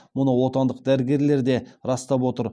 мұны отандық дәрігерлер де растап отыр